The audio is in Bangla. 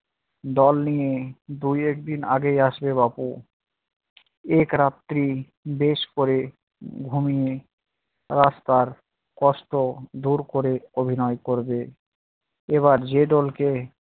দল নিয়ে দু একদিন আগেই আসবে বাবু, এক রাত্রি বেশ করে ঘুমিয়ে রাস্তার কষ্ট দূর করে অভিনয় করবে। এবার যে দল কে